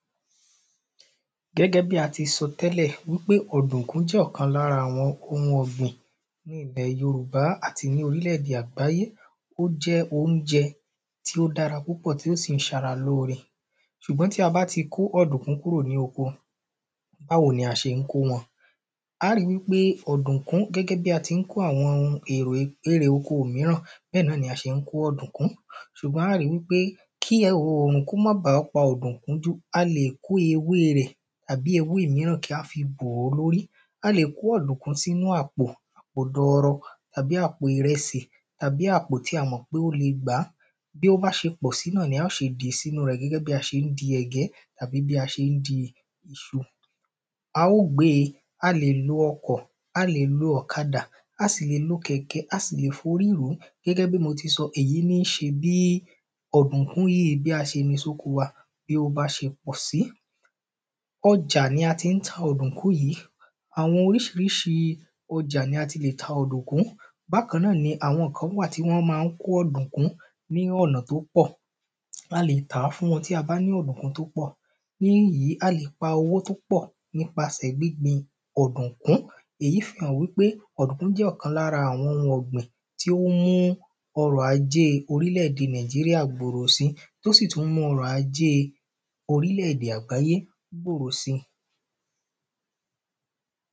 Gẹ́gẹ́ bí a ti sọ tẹ́lẹ̀ wípé ọ̀dùnkún jẹ́ ìkan lára àwọn ọ̀gbìn ní ilẹ́ yorùbá àti lórílẹ̀ èdè àgbáyé. Ó jẹ́ óúnjẹ tí ó dára púpọ̀ tí ó sì ń ṣara lóore ṣùgbọ́n tí a bá ti kó ọ̀dùnkún kúrò ní oko báwo ni a ṣé ń kó wọn? Á ó rí wípé ọ̀dùnkún gẹ́gẹ́ bí a ti ń kó àwọn ohun èrò o erè oko míràn bẹ́ẹ̀ náni a se ń kó ọ̀dùnkún. Ṣùgbọ́n á ó ɹí wípé kí òrùn kí ó má ba a pa ọ̀dùnkún jù a lè kó ewé rẹ̀ àbí ewé míràn kí á fi bò ó lórí. A lè kó ọ̀dùnkún sínú àpò àpò dọrọ tàbí àpò ìrẹsì tàbí àpò tí a mọ̀ pé ó le gbà á. Bí ó bá ṣe pọ̀ sí náà ni á ṣe dì sínú rẹ̀ gẹ́gẹ́ bí a ṣe ń di ẹ̀gẹ́ tàbí bí a ṣe ń di iṣu. Á ó gbe a lè lo ọkọ̀. A lè lo ọ̀kadà. A sì lè lo kẹ̀kẹ́ a sì le forí rù ú gẹ́gẹ́ bí mo ti sọ èyí ní ṣe bí ọ̀dùnkún yìí bí a ṣe ní sóko wa bí ó bá ṣe pọ̀ sí. Ọjà ni a ti ń ta ọ̀dùnkún yìí. Àwọn oríṣiríṣi ọjà ni a ti lè ta ọ̀dùnkún bákan náà ni àwọn kan wà tí wọ́n má ń kó ọ̀dùnkún ní ọ̀nà tó pọ̀. A lè tà fún wọn tí a bá ní ọ̀dùnkún tí ó pọ̀ ní èyí a lè pa owó tó pọ̀ nípasẹ̀ gbíngbin ọ̀dùnkún. Èyí fi hàn wípé ọ̀dùnkún jẹ́ ìkan lára àwọn ọ̀gbìn tí ó ń mú ọrọ̀ ajé orílẹ̀-èdè náìjíríà gbòrò sí tó sì tún ń mú ọrọ̀ ajé orílẹ̀-èdè àgbáyé gbòrò sí.